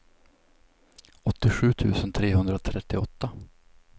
åttiosju tusen trehundratrettioåtta